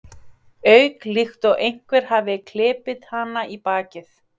auka, líkt og einhver hafi klipið hana í bakið.